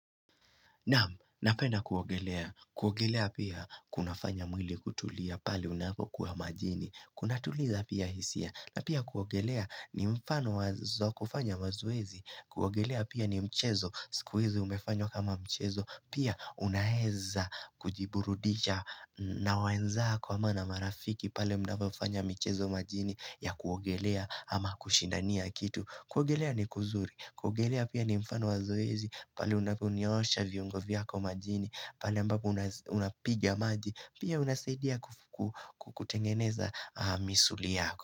Namu, napena kuogelea. Kuogelea pia kuna fanya mwili kutulia pali unapo kuwa majini. Kuna tuliza pia hisia. Na pia kuogelea ni mfano wazo kufanya mazuwezi. Kuogelea pia ni mchezo. Sikuwezi umefanyo kama mchezo. Pia unaeza kujiburudisha na wenzako ama na marafiki paei unapo fanya mchezo majini ya kuogelea ama kushindania kitu. Kuogelea ni kuzuri, kuogelea pia ni mfano wa zoezi, pale unapunyosha viungoko kwa majini, pali ambapo unapigia maji, pia unasaidia kutengeneza misuli yako.